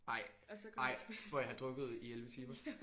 Ej ej hvor I havde drukket i 11 timer?